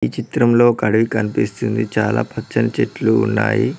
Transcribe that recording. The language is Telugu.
ఈ చిత్రంలో ఒక అడవి కనిపిస్తుంది చాలా పచ్చని చెట్లు ఉన్నాయి.